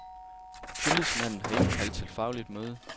Tillidsmanden har indkaldt til fagligt møde.